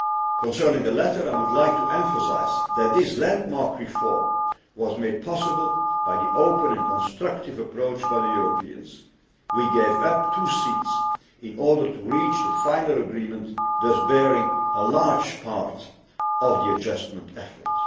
Concerning the latter, I would like to emphasise that this landmark reform was made possible by the open and constructive approach by the Europeans. We gave up two seats in order to reach the final agreement, thus bearing a large part of the adjustment effort.